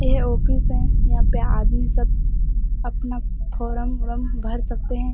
यह ऑफिस है। यहाँ पे आदमी सब अपना फोरम उरम भर सकते हैं।